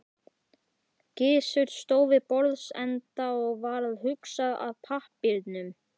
Gizur stóð við borðsenda og var að huga að pappírum.